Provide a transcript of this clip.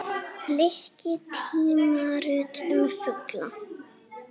Bliki: tímarit um fugla.